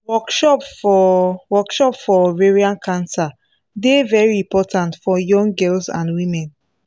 workshop for workshop for ovarian cancer dey very important for young girls and women